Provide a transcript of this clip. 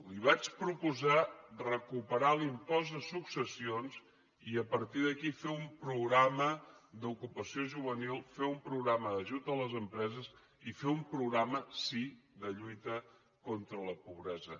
li vaig proposar recuperar l’impost de successions i a partir d’aquí fer un programa d’ocupació juvenil fer un programa d’ajut a les empreses i fer un programa sí de lluita contra la pobresa